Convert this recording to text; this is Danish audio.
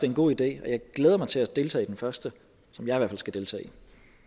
en god idé jeg glæder mig til at deltage i den første som jeg skal deltage